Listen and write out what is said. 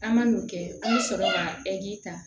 An ma n'o kɛ an bɛ sɔrɔ ka ta